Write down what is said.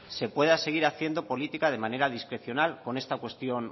se pueda seguir haciendo política de manera discrecional con esta cuestión